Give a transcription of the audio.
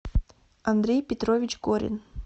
андрей петрович горин